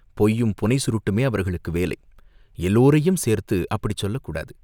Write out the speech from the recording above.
பொய்யும் புனை சுருட்டுமே அவர்களுக்கு வேலை!" "எல்லோரையும் சேர்த்து அப்படிச் சொல்லக் கூடாது.